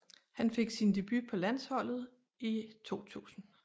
Han fik sin debut på landsholdet i 2000